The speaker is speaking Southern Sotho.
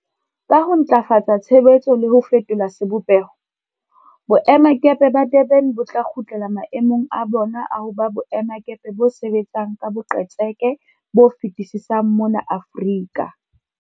Ka ho ntlafatsa tshebetso le ho fetola sebopeho, boemakepe ba Durban bo tla kgutlela mae mong a bona a ho ba boemakepe bo sebetsang ka boqetseke bo fetisisang mona Aforika.